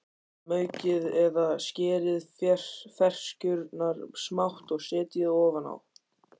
Maukið eða skerið ferskjurnar smátt og setjið ofan á.